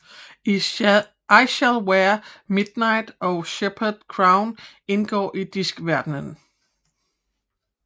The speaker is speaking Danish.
I Shall Wear Midnight og Shepherds crown foregår i Diskverdenen